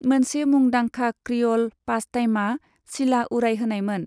मोनसे मुंदांखा क्रिअ'ल पासटाइमआ सिला उरायहोनायमोन।